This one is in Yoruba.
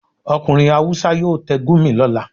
Okunrin hawúsa yọọ tẹ́ Gurmi lolà